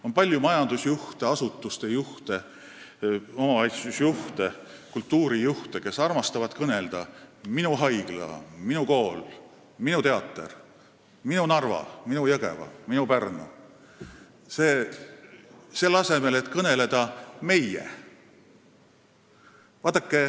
On palju majandusjuhte, asutuste juhte, omavalitsusjuhte ja kultuurijuhte, kes armastavad öelda "minu haigla", "minu kool", "minu teater", "minu Narva", "minu Jõgeva", "minu Pärnu", selle asemel et öelda "meie".